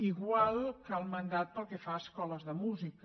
igual que el mandat pel que fa a escoles de música